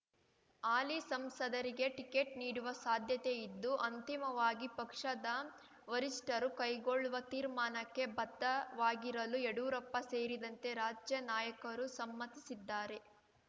ಹಾಲಿ ಸಂಸದರಿಗೆ ಟಿಕೆಟ್ ನೀಡುವ ಸಾಧ್ಯತೆ ಇದ್ದು ಅಂತಿಮವಾಗಿ ಪಕ್ಷದ ವರಿಷ್ಠರು ಕೈಗೊಳ್ಳುವ ತೀರ್ಮಾನಕ್ಕೆ ಬದ್ಧವಾಗಿರಲು ಯಡ್ಯೂರಪ್ಪ ಸೇರಿದಂತೆ ರಾಜ್ಯ ನಾಯಕರು ಸಮ್ಮತಿಸಿದ್ದಾರೆ